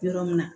Yɔrɔ min na